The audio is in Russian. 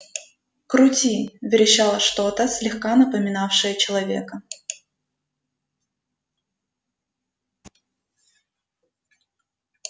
крути верещало что-то слегка напоминавшее человека